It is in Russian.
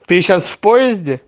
ты сейчас в поезде